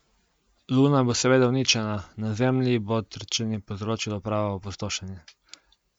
Luna bo seveda uničena, na Zemlji pa bo trčenje povzročilo pravo opustošenje.